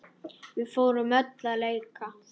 Við fórum öll að leika.